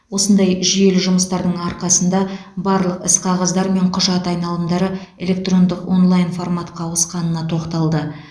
осындай жүйелі жұмыстардың арқасында барлық іс қағаздар мен құжат айналымдары электрондық онлайн форматқа ауысқанына тоқталды